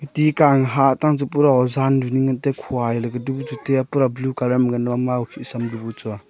ti ingka hah tang tu pura ozan du ningley ngan taiya khua edu ningka tu taiya pura blue colour ngan mama okhih sam dubu chua .